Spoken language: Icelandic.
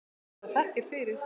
Hafi það þakkir fyrir.